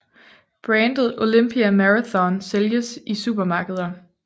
Brandet Olympia Marathon sælges i supermarkeder